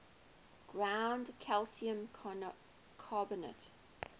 ground calcium carbonate